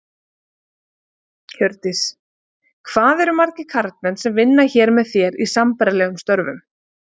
Hjördís: Hvað eru margir karlmenn sem vinna hér með þér, í sambærilegum störfum?